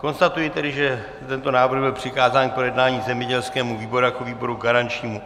Konstatuji tedy, že tento návrh byl přikázán k projednání zemědělskému výboru jako výboru garančnímu.